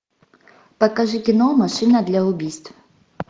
покажи кино машина для убийств